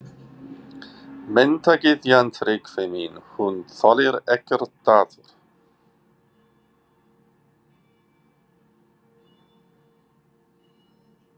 Menntagyðjan, Tryggvi minn, hún þolir ekkert daður!